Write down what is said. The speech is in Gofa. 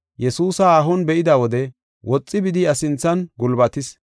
Yesuusa haahon be7ida wode woxi bidi iya sinthan gulbatis.